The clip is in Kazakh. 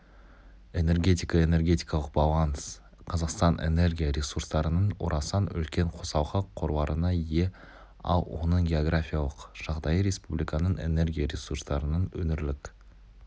энергетика энергетикалық баланс қазақстан энергия ресурстарының орасан үлкен қосалқы қорларына ие ал оның географиялық жағдайы республиканың энергия ресурстарының өңірлік